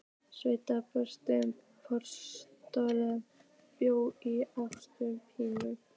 Sveinn Bergsveinsson prófessor bjó í Austur-Berlín.